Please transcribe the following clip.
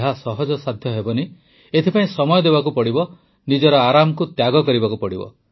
ଏହା ସହଜସାଧ୍ୟ ହେବନି ଏଥିପାଇଁ ସମୟ ଦେବାକୁ ପଡ଼ିବ ନିଜର ଆରାମକୁ ତ୍ୟାଗ କରିବାକୁ ପଡ଼ିବ